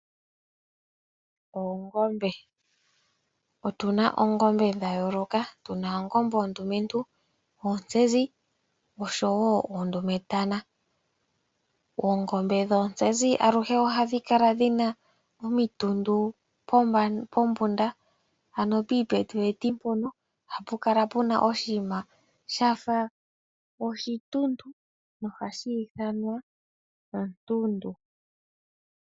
Oongombe , otuna oongombe dhayooloka , tuna oongombe oondumentu , oontsezi oshowo oondumetana. Oongombe dhoontsezi aluhe ohadhi kala dhina omitundu pombunda ano piipeti peti mpono ohapu kala opuna ooshima shafa oshituntu nohashi ithanwa okantundu.